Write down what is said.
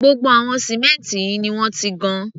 Gbogbo àwọn símẹ́ǹtì yìí ni wọ́n ti gan.